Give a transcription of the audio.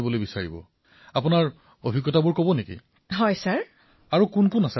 প্ৰধানমন্ত্ৰীঃ আপোনাৰ সৈতে আৰু কোন কোন আছে